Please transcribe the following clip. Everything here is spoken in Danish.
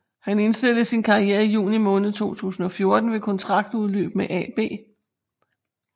Han indstillede sin karriere i juni måned 2014 ved kontraktudløb med AB